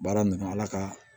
Baara nunnu ala ka